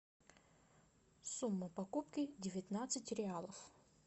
сумма покупки девятнадцать реалов